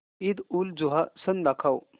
ईदउलजुहा सण दाखव